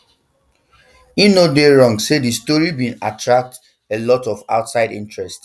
im no dey wrong say di story bin don attract um a lot of outside interest